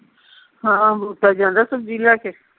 ਹਾਂ ਜਾਂਦਾ ਸਬਜੀ ਲੈ ਕੇ